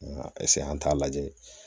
an t'a lajɛ